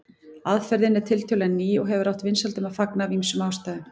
Aðferðin er tiltölulega ný og hefur átt vinsældum að fagna af ýmsum ástæðum.